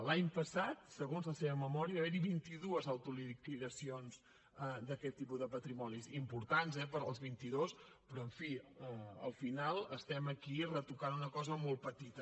l’any passat segons la seva memòria hi va haver vint i dues autoliquidacions d’aquest tipus de patrimonis importants eh per als vint i dos però en fi al final estem aquí retocant una cosa molt petita